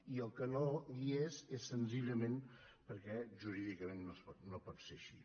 i el que no hi és és senzillament perquè jurídicament no pot ser així